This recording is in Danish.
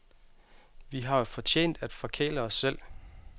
Vi har jo fortjent at forkæle os selv.